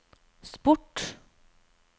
sport